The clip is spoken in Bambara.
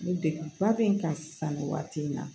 Ni degun ba bɛ n kan sisan nin waati in na